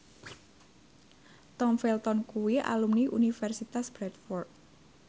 Tom Felton kuwi alumni Universitas Bradford